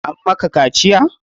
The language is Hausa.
An maka kaciya?